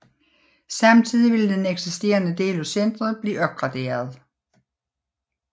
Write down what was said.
Samtidig ville den eksisterende del af centret blive opgraderet